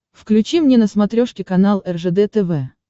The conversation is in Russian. включи мне на смотрешке канал ржд тв